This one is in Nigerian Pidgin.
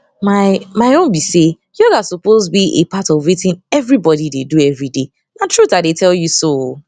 my my own be say yoga supose be a part of wetin everybodi dey do everyday na truth i dey tell you so o